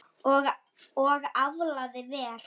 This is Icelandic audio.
Og aflaði vel.